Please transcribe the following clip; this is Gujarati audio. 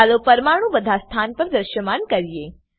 ચાલો પરમાણુ બધા સ્થાન પર દ્રશ્યમાન કરીએ